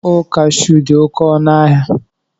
Mkpụrụ kashuu dị oké ọnụ ahịa